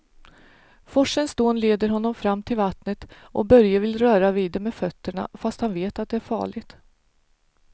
Forsens dån leder honom fram till vattnet och Börje vill röra vid det med fötterna, fast han vet att det är farligt.